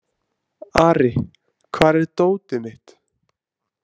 Ari, hvar er dótið mitt?